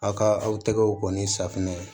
Aw ka aw tɛgɛw kɔni safunɛ